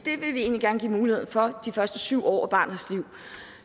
egentlig gerne give mulighed for de første syv år af barnets liv